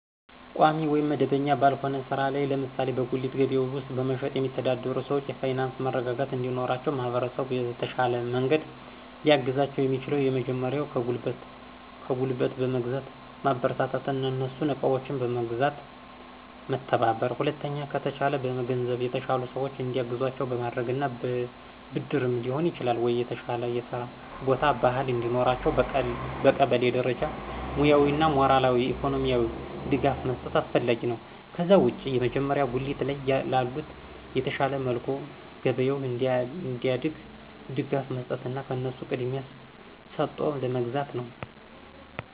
ቋሚ ወይም መደበኛ ባልሆነ ሥራ ላይ ለምሳሌ በጉሊት ገበያ ውስጥ በመሸጥ የሚተዳደሩ ሰዎች የፋይናንስ መረጋጋት እንዲኖራቸው ማህበረሰቡ በተሻለ መንገድ ሊያግዛቸው የሚችለው የመጀመሪያው ከጉልት በመግዛት ማበረታታትና እነሱን እቃዎችን በመግዛት መተባበር። ሁለተኛ ከተቻለ በገንዘብ የተሻሉ ሰዎች እንዲያግዟቸው በማድረግና በብድርም ሊሆን ይችላል ወይ የተሻለ የስራ ቦታ፣ ባህል እንዲኖራቸው በቀበሌ ደረጃ ሙያዊ ወይም ሞራላዊ፣ ኢኮኖሚካሊ ድጋፍ መስጠት አስፈላጊ ነው። ከዛ ውጭ የመጀመሪያው ጉሊት ላይ ላሉት በተሻለ መልኩ ገበያቸው እንዲያድግ ድጋፍ መስጠትና ከነሱ ቅድሚያ ሰጦ መግዛት ነው።